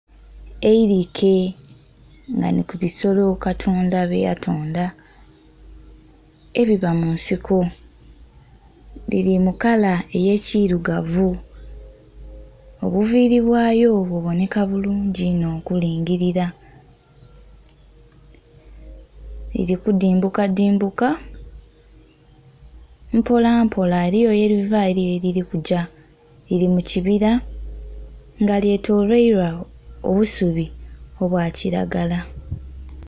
Eirike nga nhi kubisolo katonda bye yatonda ebiba munsiko lili mukala eye kirugavu, obuviri bwayo bubonheka bulungi inho okulingilila, lili kudhimbuka dhimbuka mpola mpola eriyo yeliva eliyo yelili kugya. Lili mu kibila nga lyetolweilwa obusubi obwa kilagala.